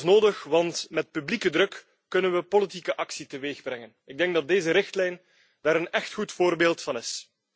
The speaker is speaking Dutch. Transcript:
En dat is nodig, want met publieke druk kunnen we politieke actie teweegbrengen. Ik denk dat deze richtlijn daar een echt goed voorbeeld van is.